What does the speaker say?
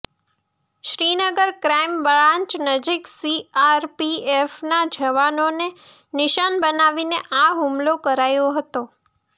Srinagar crime branch નજીક સીઆરપીએફના જવાનોને નિશાન બનાવીને આ હુમલો કરાયો હતો